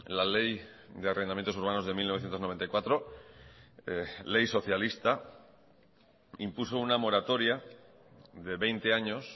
la ley de arrendamientos urbanos de mil novecientos noventa y cuatro ley socialista impuso una moratoria de veinte años